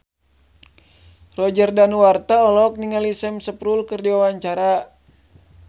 Roger Danuarta olohok ningali Sam Spruell keur diwawancara